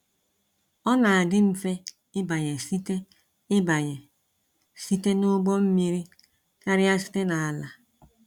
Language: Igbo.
Ọ na adị mfe ịbanye site ịbanye site n’ụgbọ mmiri karịa site n’ala.